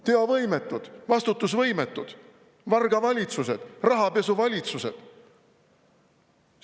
Teovõimetud, vastutusvõimetud vargavalitsused, rahapesuvalitsused!